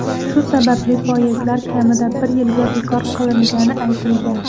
Shu sababli poyezdlar kamida bir yilga bekor qilingani aytilgan.